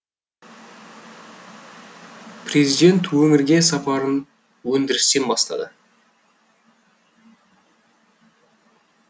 президент өңірге сапарын өндірістен бастады